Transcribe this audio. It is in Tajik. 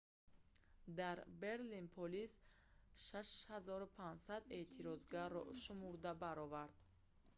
дар берлин полис 6500 эътирозгарро шумурда баровард